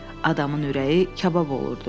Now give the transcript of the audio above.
Adamın ürəyi kabab olurdu.